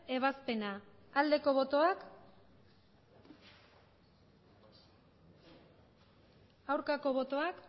ebazpena aldeko botoak aurkako botoak